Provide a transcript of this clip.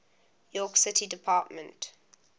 york city department